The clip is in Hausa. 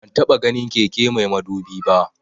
Ban taba ganin keke mai madubi ba